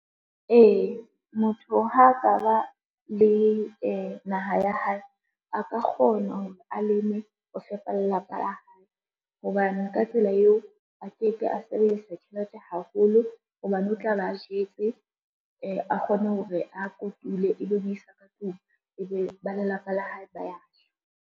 Ee, motho ha ka ba le naha ya hae a ka kgona hore a leme ho fepa lelapa la hae, hobane ka tsela eo a ke ke a sebedisa tjhelete haholo hobane o tla be a jetse, a kgone hore a kotule e be o isa ka tlung, e be ba lelapa la hae ba ya ja.